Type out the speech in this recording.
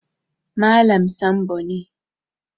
Malam Sambo ne